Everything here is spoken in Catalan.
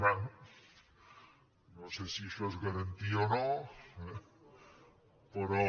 bé no sé si això és garantia o no eh però